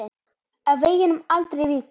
Af veginum aldrei víkur.